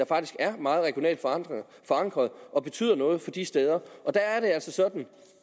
faktisk er meget regionalt forankret og betyder noget for de steder der er det altså sådan